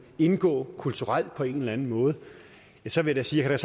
indgå kulturelt på en eller anden måde vil jeg sige at jeg